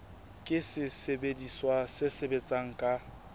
ke sesebediswa se sebetsang ka